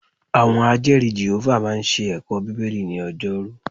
Àwọn Ajẹ́ẹ̀rí Jèhófà máa ń ṣe ẹ̀kọ́ Bíbélì ni ọjọ́rú